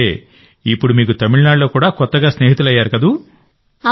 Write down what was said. అంటే ఇప్పుడు మీకు తమిళనాడులో కూడా కొత్తగా స్నేహితులయ్యారు కదా